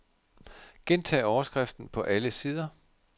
Gentag overskriften på alle sider.